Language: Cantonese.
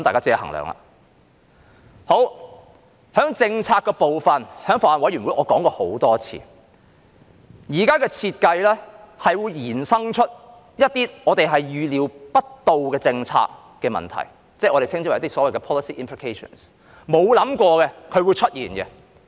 在政策的部分，我在法案委員會已多次指出，現時的設計是會衍生一些我們預料不到的政策問題，即所謂的 policy implications， 是大家沒有想過會出現的。